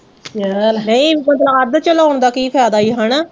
ਫਿਰ ਗੱਲ ਸਹੀ ਆ, ਆਪਣਾ ਅੱਧ ਚ ਲਾਉਣ ਦਾ ਕੀ ਫਾਇਦਾ ਹਨਾ